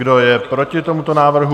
Kdo je proti tomuto návrhu?